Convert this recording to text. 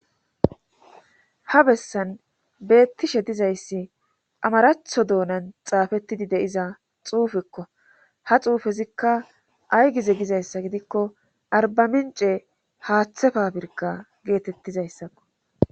ha bessan beettishe dizayssi amaraatho doonan xaafettidi de'iza xuufekko ha xuufezikka ay gize gizayssa gidikko arbamince haaththe fapirkka geetettizayssakko